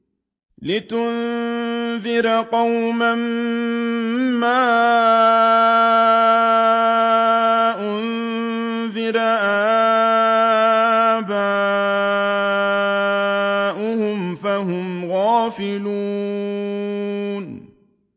لِتُنذِرَ قَوْمًا مَّا أُنذِرَ آبَاؤُهُمْ فَهُمْ غَافِلُونَ